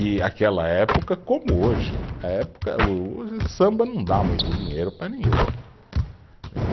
E aquela época, como hoje, a época, o samba não dá muito dinheiro para ninguém, entendeu